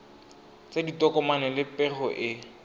tsa ditokomane le pego e